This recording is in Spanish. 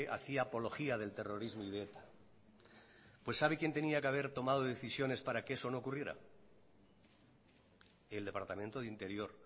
hacía apología del terrorismo y de eta pues sabe quien tenía que haber tomado decisiones para que eso no ocurriera el departamento de interior